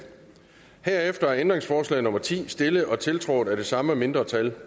herefter er ændringsforslag nummer ti stillet og tiltrådt af de samme mindretal